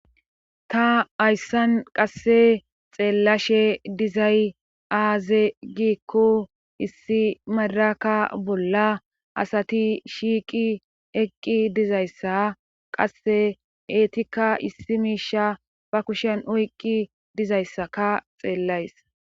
Ta ayssan qasse xeellashe dizay aaze giikkou issi madaraka bolla asati shiiqi eqqi dizayssa qasse eetika issi miisha ba kushen oyqqi dizayssaka xeellays.